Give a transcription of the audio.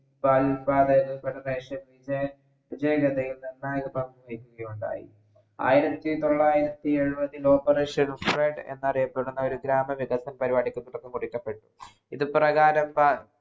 പാൽ federation വിജയനിർണ്ണായക യുണ്ടായി ആയിരത്തി തൊള്ളായിരത്തി എഴ്വതിൽ operation flood എന്നൊരു അറിയപ്പെടുന്ന ഗ്രാമ വിതക്തം എന്ന പരിവാടിക്ക്‌ തുടക്കം കുറിക്കപ്പെട്ടു ഇത് പ്രകാരം പൽ